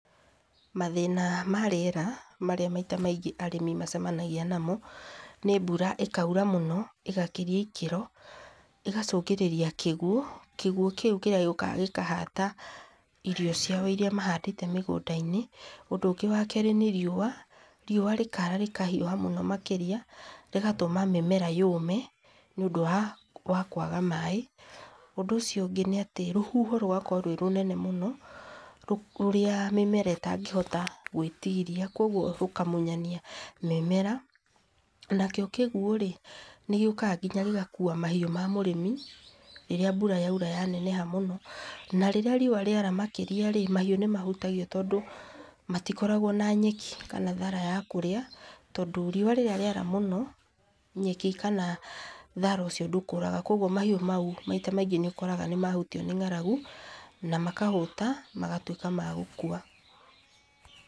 Mathĩna ma rĩera marĩa maita maingĩ arĩmi macemanagia namo nĩ mbura ĩkaura mũno ĩgakĩria ikĩro ĩgacũngĩrĩria kĩguo. Kĩguo kĩu gĩũkaga gĩkahata irio ciao irĩa mahandĩte mũgũnda -inĩ. Ũndũ wa kere nĩ riũa, riua rĩkara rĩkahiũha mũno makĩria rĩgatũma mĩmera yũme nĩ ũndũ wa kwaga maĩ. Ũndũ ũcio ũngĩ nĩ atĩ rũhuho rũgakorwo rwĩ rũnene mũno rũrĩa mĩmera ĩtangĩhota gwĩtiiria koguo rũkamunyania mĩmera na kĩo kĩguo rĩ nĩgĩũkaga gĩgakua mahiũ ma mũrĩmi rĩrĩa mbura yaura ya neneha mũno na rĩrĩa riũa rĩa rĩa neneha makĩria rĩ mahiũ nĩmahutagio tondũ magĩkoragwo na nyeki kana thara ya kũrĩa tondũ, riua rĩrĩa rĩara mũno nyeki kana thara ũcio ndũkũraga koguo mahiũ mau maita maingĩ nĩũkoraga mahutio nĩ ng'aragu na makahũta magatuĩka magũkua.